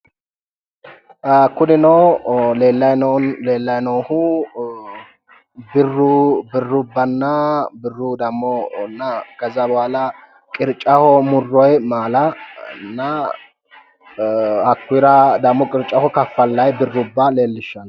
Kunino leellyi noohu birru birrubbanna birru damo keza bohaala qirccaho murroonni maalanna hakkuuyiira demo qirccaho kaffallayi birrubba leellishshanno.